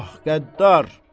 Ah qəddar.